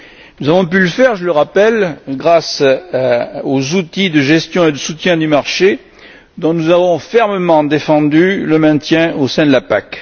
Nous avons pu le faire, je le rappelle, grâce aux outils de gestion et de soutien du marché dont nous avons fermement défendu le maintien au sein de la PAC.